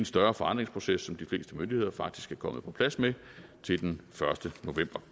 større forandringsproces som de fleste myndigheder faktisk er kommet på plads med til den første november